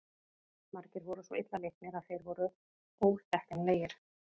Margir voru svo illa leiknir að þeir voru óþekkjanlegir.